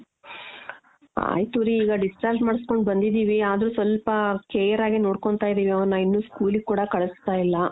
ಆಯಿತು ರೀ ಈಗ discharge ಮಾಡುಸ್ಕೋಂಡ್ ಬಂದಿದೀವಿ ಆದ್ರೂ ಸ್ವಲ್ಪ care ಆಗೇ ನೋಡ್ಕೊಂತಾ ಇದೀವಿ ಅವ್ನ ಇನ್ನೂ school ಗೇ ಕೂಡ ಕಳ್ಸ್ತಾ ಇಲ್ಲ .